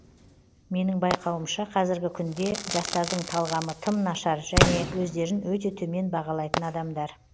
менің байқауымша қазіргі күнде жастардың талғамы тым нашар және өздерін өте төмен бағалайтын адамдар